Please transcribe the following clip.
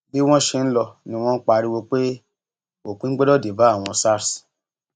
bí wọn ṣe ń lọ ni wọn ń pariwo pé òpin gbọdọ dé bá àwọn sars